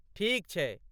ठीक छैक।